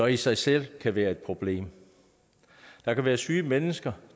i sig selv selv være et problem der kan være syge mennesker